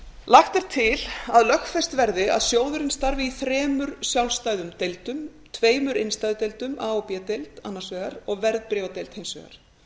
lagt er til að lögfest verði að sjóðurinn starfi í þremur sjálfstæðum deildum tveimur innstæðudeildum a og b deild annars vegar og verðbréfadeild hins vegar